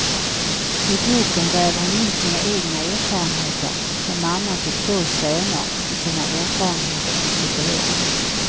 I boken väver hon in sina egna erfarenheter som mamma till två söner med sina erfarenheter som psykolog.